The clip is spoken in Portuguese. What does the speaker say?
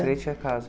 frente à casa.